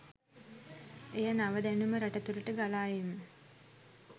එය නව දැනුම රට තුළට ගලා ඒම